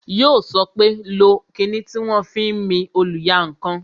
Yó sọ pé "lo kinni tí wọn fi ń mi oluyankan"